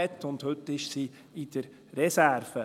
Heute ist sie in der Reserve.